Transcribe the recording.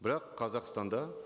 бірақ қазақстанда